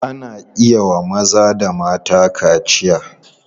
Ana iya wa maza da mata kaciya.